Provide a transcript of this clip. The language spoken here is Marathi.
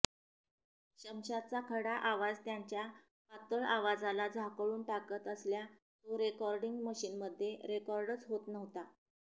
शमशादचा खडा आवाज त्यांच्या पातळ आवाजाला झाकोळून टाकत असल्या तो रेकॉर्डिंग मशीनमध्ये रेकॉर्डच होत नव्हता